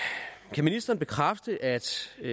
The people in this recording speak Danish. kan ministeren bekræfte at